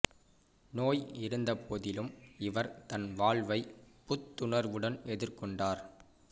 நோய் இருந்த போதிலும் இவர் தன் வாழ்வை புத்துணர்வுடன் எதிர் கொண்டார்